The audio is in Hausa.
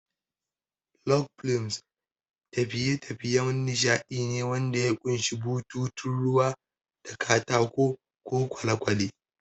Log flumes tafiye-tafiyen nishadi ne wanda ya ƙunshi bututun ruwa da katako ko kwale-kwale.